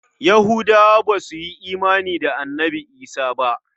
Yahudawa ba su yi imani da Annabi Isah ba.